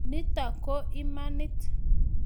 Nito ko imanit